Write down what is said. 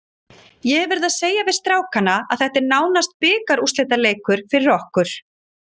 Ég hef verið að segja við strákana að þetta er nánast bikarúrslitaleikur fyrir okkur.